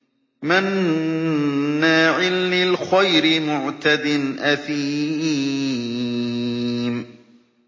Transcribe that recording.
مَّنَّاعٍ لِّلْخَيْرِ مُعْتَدٍ أَثِيمٍ